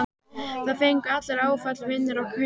Það fengu allir áfall, vinir og kunningjar.